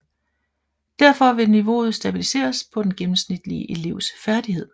Derfor vil niveauet stabiliseres på den gennemsnitlige elevs færdighed